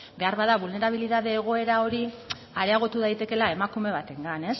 behar bada bulnerabilidade egoera hori areagotu daitekeela emakume batengan